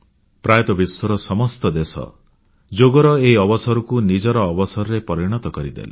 ପ୍ରାୟତଃ ବିଶ୍ୱର ସମସ୍ତ ଦେଶ ଯୋଗର ଏହି ଅବସରକୁ ନିଜର ଅବସରରେ ପରିଣତ କରିଦେଲେ